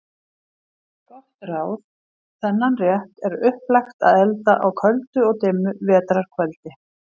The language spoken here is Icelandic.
Gott ráð: Þennan rétt er upplagt að elda á köldu og dimmu vetrar kvöldi.